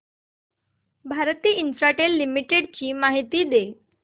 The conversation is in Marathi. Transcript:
भारती इन्फ्राटेल लिमिटेड ची माहिती दे